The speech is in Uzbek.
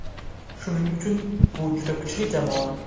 Shuning uchun bu juda kuchli jamoa.